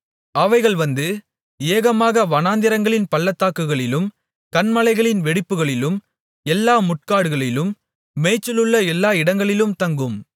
அவைகள் வந்து ஏகமாக வனாந்திரங்களின் பள்ளத்தாக்குகளிலும் கன்மலைகளின் வெடிப்புகளிலும் எல்லா முட்காடுகளிலும் மேய்ச்சலுள்ள எல்லா இடங்களிலும் தங்கும்